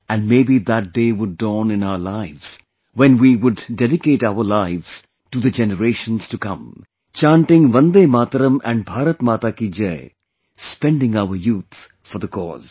and maybe that day would dawn in our lives when we would dedicate our lives to the generations to come, chanting Vande Mataram and Bharat Maa Ki Jai, spending our youth for the cause